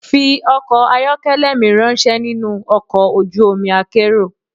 Fi ọkọ̀ ayọ́kẹ́lẹ́ mi ráńṣẹ́ nínú ọkọ̀ ojú omi akérò.